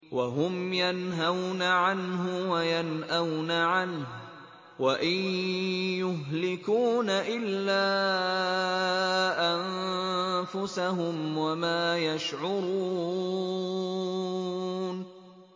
وَهُمْ يَنْهَوْنَ عَنْهُ وَيَنْأَوْنَ عَنْهُ ۖ وَإِن يُهْلِكُونَ إِلَّا أَنفُسَهُمْ وَمَا يَشْعُرُونَ